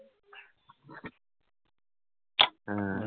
হ্যাঁ।